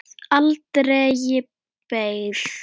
Varð aldregi beygð.